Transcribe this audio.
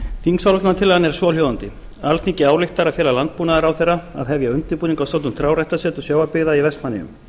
þingsályktunartillagan er svohljóðandi alþingi ályktar að fela landbúnaðarráðherra að hefja undirbúning að stofnun trjáræktarseturs sjávarbyggða í vestmannaeyjum